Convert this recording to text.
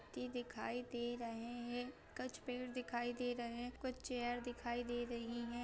व्यक्ति दिखाई दे रहे है कुछ पेड़ दिखाई दे रहे हैं कुछ चेयर दिखाई दे रही हैं।